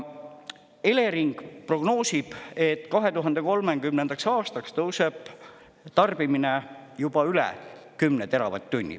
Elering prognoosib, et 2030. aastaks tõuseb tarbimine juba üle 10 teravatt-tunni.